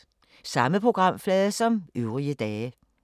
Samme programflade som øvrige dage